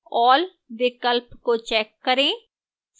all विकल्प को check करें